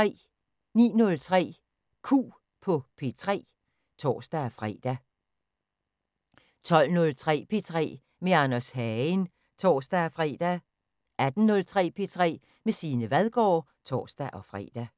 09:03: Q på P3 (tor-fre) 12:03: P3 med Anders Hagen (tor-fre) 18:03: P3 med Signe Vadgaard (tor-fre)